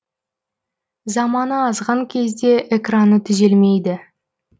заманы азған кезде экраны түзелмейді